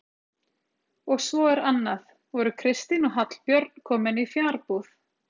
Og svo er annað: voru Kristín og Hallbjörn komin í fjarbúð?